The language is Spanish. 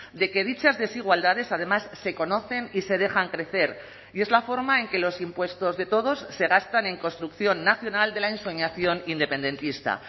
de que dichas desigualdades además se conocen y se dejan crecer y es la forma en que los impuestos de todos se gastan en construcción nacional de la ensoñación independentista